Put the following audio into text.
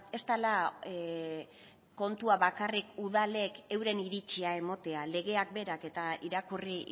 ez dela kontua bakarrik udalek euren iritzia ematea legeak berak eta irakurri